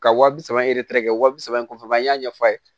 Ka wa bi saba kɛ wa bi saba in kɔfɛ an y'a ɲɛfɔ a ye